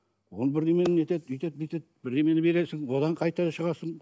оны бірдеңені нетеді өйтеді бүйтеді бірдеңені бересің одан қайтадан шығасың